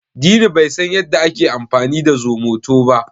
Dini bai san yadda ake amfani da zomoto ba.